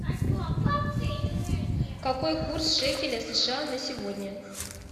какой курс шекеля сша на сегодня